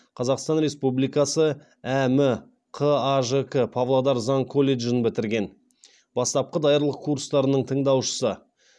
қазақстан республикасы әм қажк павлодар заң колледжін бітірген бастапқы даярлық курстарының тыңдаушысы